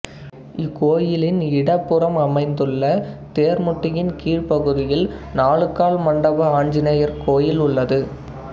இக்கோயிலின் இடப்புறம் அமைந்துள்ள தேர்முட்டியின் கீழ்ப்பகுதியில் நாலுகால் மண்டப ஆஞ்சநேயர் கோயில் உள்ளது